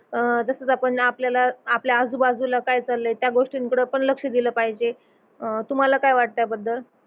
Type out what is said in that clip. अह तसच आपण आपल्याला आपल्या आजुबाजुला काय चाललय त्या गोष्टींकड पण लक्ष दिल पाहिजे अह तुम्हाला काय वाटत या बद्दल